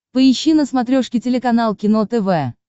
поищи на смотрешке телеканал кино тв